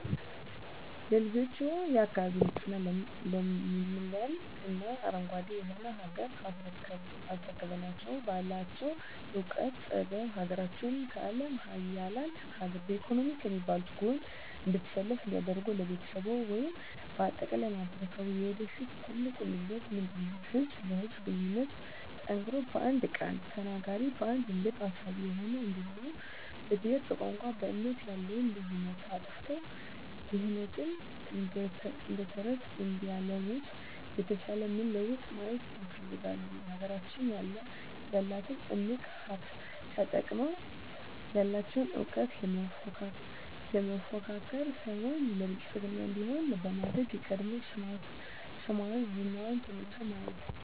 ለልጆችዎ፣ የአካባቢ ንፁህ ለምለም እና አረንጓዴ የሆነች ሀገር አስረክበናቸው ባላቸው እውቀትና ጥበብ ሀገራቸውን ከአለም ሀያላን ሀገር በኢኮኖሚ ከሚባሉት ጎን እንድትሰለፍ እንዲያደርጉ ለቤተሰብዎ ወይም በአጠቃላይ ለማህበረሰብዎ የወደፊት ትልቁ ምኞቶ ምንድነው? ህዝብ ለህዝብ ግንኙነቱ ጠንክሮ በአንድ ቃል ተናጋሪ በአንድ ልብ አሳቢ ሆነው እንዲኖሩ በብሄር በቋንቋ በእምነት ያለውን ልዩነት አጥፍተው ድህነትን እደተረተረት እንዲያለሙት የተሻለ ምን ለውጥ ማየት ይፈልጋሉ? ሀገራችን ያላትን እምቅ ሀብት ተጠቅመው ያለቸውን እውቀት ለመፎካከር ሳይሆን ለብልፅግና እንዲሆን በማድረግ የቀድሞ ስሟና ዝናዋ ተመልሶ ማየት